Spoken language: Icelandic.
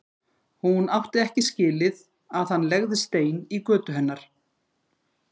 Hún átti ekki skilið að hann legði stein í götu hennar.